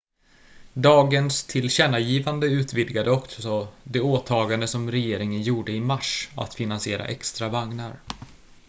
dagens tillkännagivande utvidgade också det åtagande som regeringen gjorde i mars att finansiera extra vagnar